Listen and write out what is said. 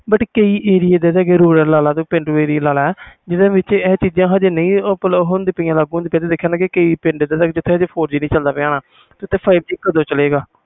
ਕਈ ਏਰੀਆ ਏਹਦੇ ਦੇ ਆ ਪੇਂਡੂ ਏਰੀਆ ਲਾਗਲਾ ਜਿਨ੍ਹਾਂ ਵਿਚ ਆਹ ਚੀਜ਼ਾਂ ਅਜੇ ਨਹੀਂ ਲਾਗੂ ਹੁੰਦੀਆਂ ਪਾਇਆ ਕਈ ਪਿੰਡ ਇਹਦੇ ਦੇ ਹੁਣੇ ਆ ਜਿਥੇ four G ਨਹੀਂ ਚਲਦਾ ਪੀਯਾ ਹੋਣਾ ਤੇ five G ਕਦੋ ਚਲੇ ਗਏ